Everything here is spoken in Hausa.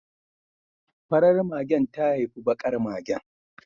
Farar magen ta haifi bakar magen